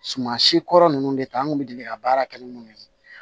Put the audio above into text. Suman si kɔrɔ nunnu de ta an kun bɛ deli ka baara kɛ ni minnu ye